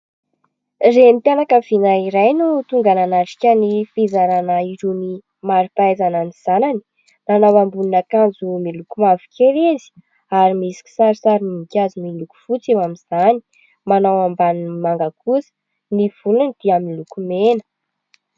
Renim-pianakaviana iray no tonga nanatrika ny fizarana irony marim-pahaizana ny zanany, nanao ambonin'akanjo miloko mavokely izy ary misy kisarisarim-boninkazo miloko fotsy eo amin'izany, manao ambaniny manga kosa, ny volony dia miloko mena.